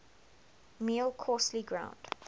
meal coarsely ground